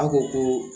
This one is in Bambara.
A ko ko